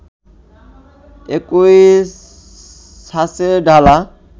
একই ছাঁচে ঢালা